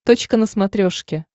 точка на смотрешке